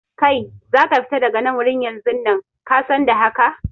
Kai, za ka fita daga nan wurin yanzun nan, ka san da haka!